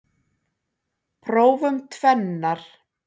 Prófum tvennar.